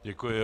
Děkuji.